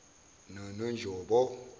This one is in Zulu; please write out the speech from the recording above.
nononjobo